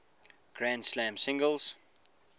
grand slam singles